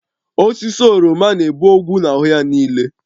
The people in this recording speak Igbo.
Osisi oroma na-ebu ogwu na-ahụ ya niile